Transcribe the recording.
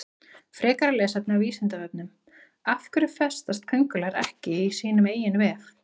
Frekara lesefni á Vísindavefnum Af hverju festast köngulær ekki í sínum eigin vef?